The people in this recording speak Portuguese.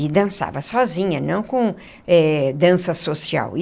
E dançava sozinha, não com eh dança social.